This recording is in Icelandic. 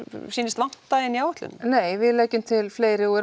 sýnist vanta í áætlunina nei við leggjum til fleiri og